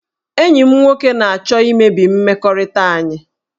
Enyi m nwoke na-achọ imebi mmekọrịta anyị